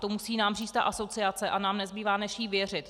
To nám musí říct ta asociace a nám nezbývá, než jí věřit.